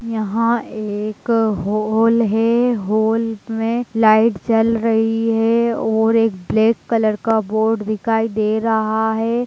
यहाँ एक हॉल है हॉल में लाइट जल रही है और एक ब्लैक कलर का बोर्ड दिखाई दे रहा है।